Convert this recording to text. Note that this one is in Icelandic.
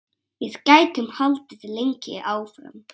Við gætum haldið lengi áfram.